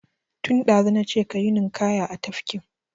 Tun ɗazu na ce ka yi ninƙaya a tafkin!